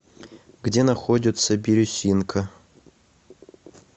где находится бирюсинка